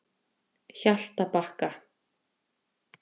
Hjaltabakka